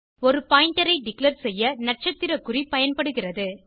ஒரு பாயிண்டர் ஐ டிக்ளேர் செய்ய நட்சத்திர குறி பயன்படுகிறது